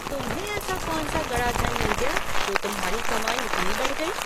तुम्हें ऐसा कौन सा गड़ा धन मिल गया जो तुम्हारी कमाई इतनी बढ़ गई?